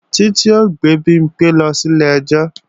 Títí ó gbé Bimpé lọ sílé ẹjọ́ lọ́la